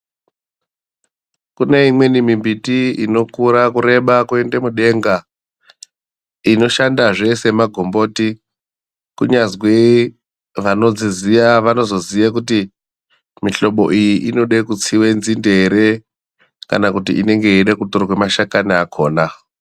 Kune imweni mimbiti inokura kureba kuende mudenga inoshandazve semagomboti. Kunyazwi vanodziziya vanozoziye kuti mihlobo iyi ichida kutsire nzinde here kana kuti inenge yeida kutorwe mashakani akona.